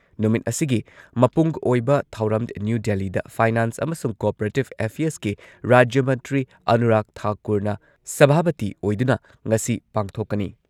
ꯅꯨꯃꯤꯠ ꯑꯁꯤꯒꯤ ꯃꯄꯨꯡ ꯑꯣꯏꯕ ꯊꯧꯔꯝ ꯅ꯭ꯌꯨ ꯗꯦꯜꯂꯤꯗ ꯐꯥꯢꯅꯥꯟꯁ ꯑꯃꯁꯨꯡ ꯀꯣꯑꯣꯄꯔꯦꯇꯤꯚ ꯑꯦꯐꯤꯌꯔꯁꯀꯤ ꯔꯥꯖ꯭ꯌ ꯃꯟꯇ꯭ꯔꯤ ꯑꯅꯨꯔꯥꯒ ꯊꯥꯀꯨꯔꯅ ꯁꯚꯥꯄꯇꯤ ꯑꯣꯏꯗꯨꯅ ꯉꯁꯤ ꯄꯥꯡꯊꯣꯛꯀꯅꯤ꯫